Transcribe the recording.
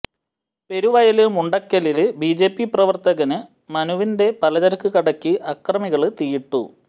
പെരുവയല് മുണ്ടക്കലില് ബിജെപി പ്രവര്ത്തകന് മനുവിന്റെ പലചരക്ക് കടയ്ക്ക് അക്രമികള് തീയിട്ടു